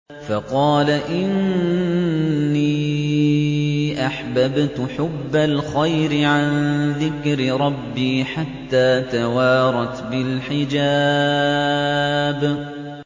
فَقَالَ إِنِّي أَحْبَبْتُ حُبَّ الْخَيْرِ عَن ذِكْرِ رَبِّي حَتَّىٰ تَوَارَتْ بِالْحِجَابِ